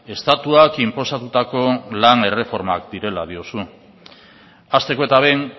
estatuak inposatutako lan erreformak direla diozu hasteko eta behin